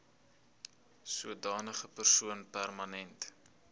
sodanige persoon permanent